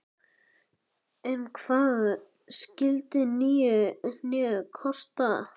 Ein hvað skyldi nýja hnéð kosta?